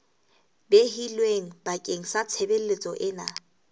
behilweng bakeng sa tshebeletso ena